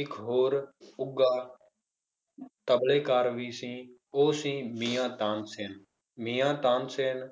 ਇੱਕ ਹੋਰ ਉੱਘਾ ਤਬਲੇਕਾਰ ਵੀ ਸੀ ਉਹ ਸੀ ਮੀਆਂ ਤਾਨਸੇਨ ਮੀਆਂ ਤਾਨਸੇਨ